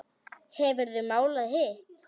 Hefurðu málað hitt?